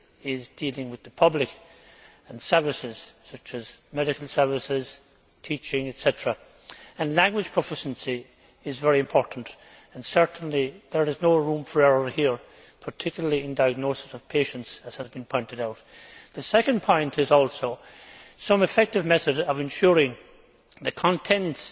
is dealing with the public and services, such as medical services, teaching, etc. Language proficiency is very important and certainly there is no room for error here, particularly in the diagnosis of patients, as has been pointed out. My second point is that we should also have some effective method of ensuring that the contents